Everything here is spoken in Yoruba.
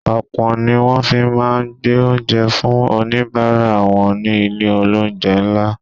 Opon ni wón fi máa ń gbé oúnjẹ fún onibaara wọn ni ilé olounje ńlá.